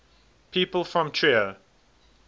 people from trier